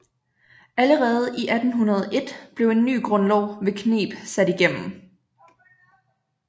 Allerede 1801 blev en ny grundlov ved kneb sat igennem